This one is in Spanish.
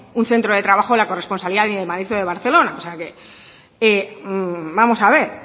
un centro de trabajo la corresponsabilidad ni de madrid o de barcelona o sea que vamos a ver